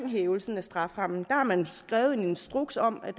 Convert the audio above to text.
hævelse af strafferammen skrevet en instruks om at